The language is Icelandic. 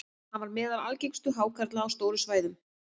hann var meðal algengustu hákarla á stórum svæðum